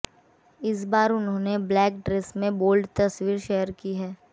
इस बार उन्होंने ब्लैक ड्रेस में बोल्ड तस्वीर शेयर की है